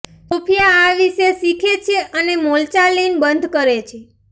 Sofia આ વિશે શીખે છે અને મોલચાલીન બંધ કરે છે